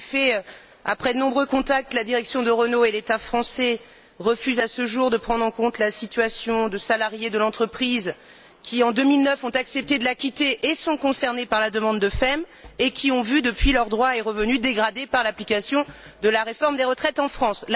En effet, après de nombreux contacts, la direction de Renault et l'État français refusent à ce jour de prendre en compte la situation de salariés de l'entreprise qui, en 2009, ont accepté de la quitter et sont concernés par la demande de FEM, et qui ont vu, depuis, leurs droits et revenus dégradés par l'application de la réforme des retraites en France.